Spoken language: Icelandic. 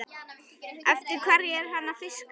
Eftir hverju er hann að fiska?